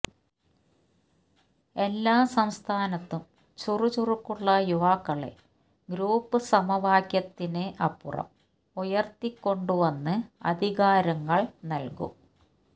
എല്ലാ സംസ്ഥാനത്തും ചുറുചുറുക്കുള്ള യുവാക്കളെ ഗ്രൂപ്പ് സമവാക്യത്തിന് അപ്പുറം ഉയര്ത്തികൊണ്ട് വന്ന് അധികാരങ്ങള് നല്കും